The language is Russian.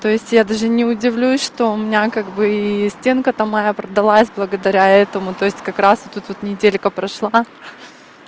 то есть я даже не удивлюсь что у меня как бы и стенка там моя продалась благодаря этому то есть как раз вот тут вот неделька прошла